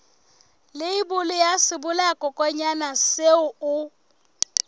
leibole ya sebolayakokwanyana seo o